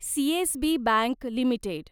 CSB Bank limited